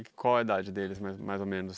E qual é a idade deles, mais mais ou menos?